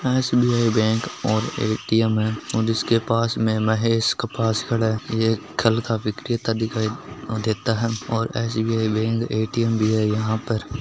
SBI bank और ATM है ओर इकसे पास में महेश कपास है ये कल का व्रिकत दिखाय देता है और एसबीआई बैंक और ऐ_टी_ऍम यहा पर--